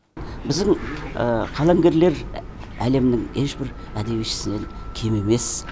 біздің қаламгерлер әлемнің ешбір әдебиетшісінен кем емес